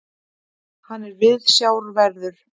Hann er viðsjárverður.